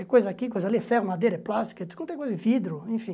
É coisa aqui, coisa ali, é ferro, madeira, é plástico, é tudo, não tem coisa, vidro, enfim.